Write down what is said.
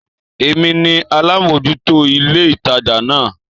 Èmi ni alámòjútó ilé ìtajà náà